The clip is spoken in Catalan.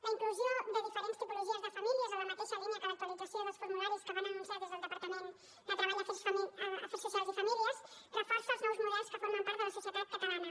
la inclusió de diferents tipologies de famílies en la mateixa línia que l’actualització dels formularis que van anunciar des del departament de treball afers socials i famílies reforça els nous models que formen part de la societat catalana